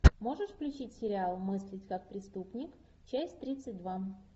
можешь включить сериал мыслить как преступник часть тридцать два